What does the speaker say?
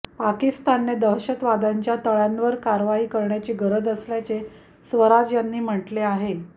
पाकिस्तानने दहशतवाद्यांच्या तळांवर कारवाई करण्याची गरज असल्याचे स्वराज यांनी म्हटले आहे